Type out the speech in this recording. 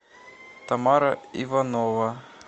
тамара иванова